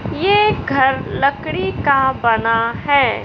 ये घर लकड़ी का बना है।